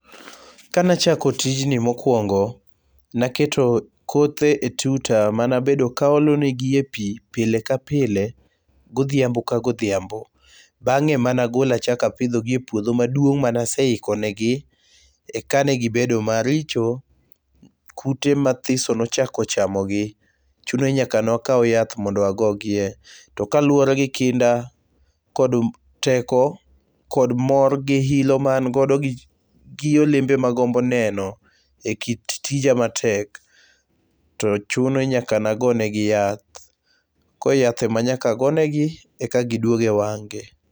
Kane achako tijni mokwongo naketo kothe e tuta mane abedo ka aolo ne gi e pi pile ka pile godhiambo ka kodhiambo. Bang'e emane agolo achako apidhogi e puodho maduong' mane aseiko ne gi. Eka negibedo maricho. Kute mathiso nochako chamogi. Chuno ni nyaka ne wakaw nyath mondo agogie. To kaluwore gi kinda kod teko kod mor gi hilo ma ago gi olembe magombo neno e kit tija matek, to chuni ni nyaka ne agonengi yath. Kor yath ema nyaka gonegi eka gidwogi e wang' gi.